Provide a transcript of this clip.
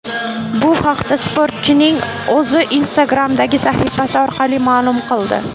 Bu haqda sportchining o‘zi Instagram’dagi sahifasi orqali ma’lum qildi.